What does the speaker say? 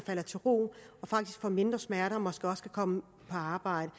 falder til ro og faktisk får mindre smerter og måske også kan komme på arbejde